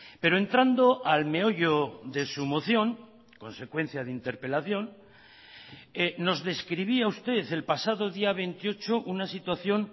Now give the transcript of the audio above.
pero entrando al meollo de su moción consecuencia de interpelación nos describía usted el pasado día veintiocho una situación